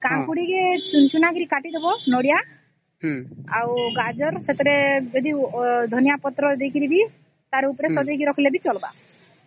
ଆଉ ସେଥିରେ କାକୁଡି ନଡ଼ିଆଗାଜର ଧନିଆପତ୍ର